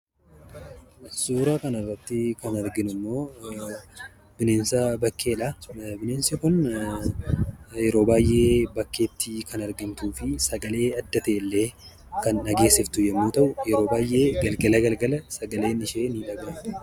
Suuraa kanarratti kan arginummoo, bineensa bakkeedha. Bineensi kun yeroo baayyee bakkeetti kan argamtuufi sagalee adda ta'ellee kan dhageesiftu yemmuu ta'u, yeroo baayyee galgala galgala sagaleen ishee ni dhagahama.